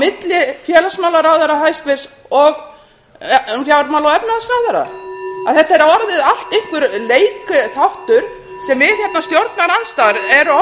milli hæstvirts félagsmálaráðherra og fjármála og efnahagsráðherra þetta er orðið allt einhver leikþáttur sem við í stjórnarandstöðunni erum orðin leiksoppar í